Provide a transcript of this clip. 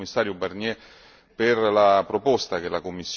per la proposta che la Commissione ha presentato.